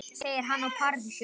Segir hana paradís á jörð.